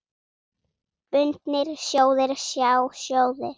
Bundnir sjóðir, sjá sjóðir